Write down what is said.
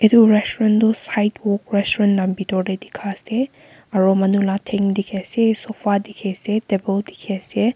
etu restaurant toh sidewok restaurant la pitor te dikha ase aru manu la thenk dikhi ase sofa dikhi ase table dikhi ase.